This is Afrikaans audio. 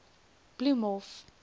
bloemhof